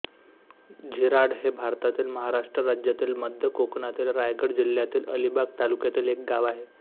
झिराड हे भारतातील महाराष्ट्र राज्यातील मध्य कोकणातील रायगड जिल्ह्यातील अलिबाग तालुक्यातील एक गाव आहे